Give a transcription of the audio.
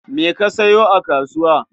Me ka sayo a kasuwa?